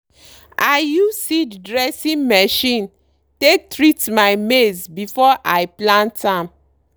i use seed dressing machine take treat my maize before i plant am.